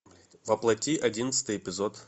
воплоти одиннадцатый эпизод